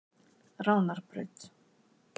Ránarbraut